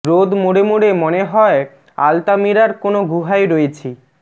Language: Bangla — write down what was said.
রোদ মরে মরে মনে হয় আলতামিরারর কোনো গুহায় রয়েছি